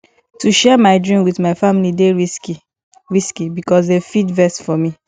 to share my dream wit my family dey risky risky because dem fit vex for me